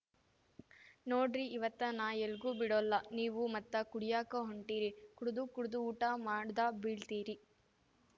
ನೋಡ್ರೀ ಇವತ್ತ ನಾ ಎಲ್ಗೂ ಬಿಡೊಲ್ಲಾ ನೀವು ಮತ್ತ ಕುಡಿಯಾಕ ಹೊಂಟೀರಿ ಕುಡ್ದುಕುಡ್ದು ಊಟ ಮಾಡ್ದ ಬೀಳ್ತೀರಿ